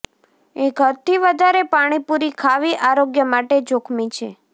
એક હદથી વધારે પાણીપૂરી ખાવી આરોગ્ય માટે જોખમી છે